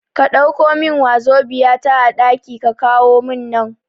Ka Ɗauko min wazobia ta a ɗaki ka kawo mun nan